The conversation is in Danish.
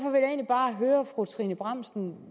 bare høre fru trine bramsen